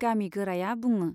गामि गोराया बुङो।